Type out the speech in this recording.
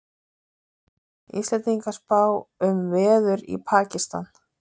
Íslendingar spá um veður í Pakistan